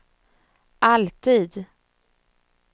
alltid